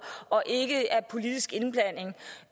og ikke af politisk indblanding og